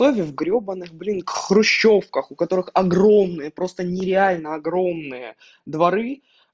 он в грёбанных блин в хрущёвках у которых огромные просто нереально огромные дворы